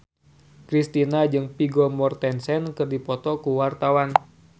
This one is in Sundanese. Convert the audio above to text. Kristina jeung Vigo Mortensen keur dipoto ku wartawan